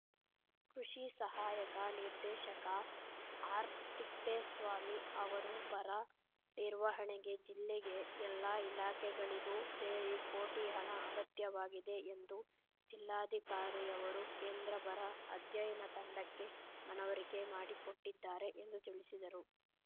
ಕೃಷಿ ಸಹಾಯಕ ನಿರ್ದೇಶಕ ಆರ್‌ತಿಪ್ಪೇಸ್ವಾಮಿ ಅವರು ಬರ ನಿರ್ವಹಣೆಗೆ ಜಿಲ್ಲೆಗೆ ಎಲ್ಲಾ ಇಲಾಖೆಗಳಿಗೂ ಸೇರಿ ಕೋಟಿ ಹಣ ಅಗತ್ಯವಾಗಿದೆ ಎಂದು ಜಿಲ್ಲಾಧಿಕಾರಿಯವರು ಕೇಂದ್ರ ಬರ ಅಧ್ಯಯನ ತಂಡಕ್ಕೆ ಮನವರಿಕೆ ಮಾಡಿ ಕೊಟ್ಟಿದ್ದಾರೆ ಎಂದು ತಿಳಿಸಿದರು